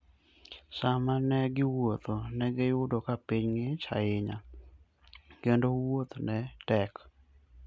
Sama ne giwuotho, ne giyudo ka piny ng'ich ahinya, kendo wuoth ne tek.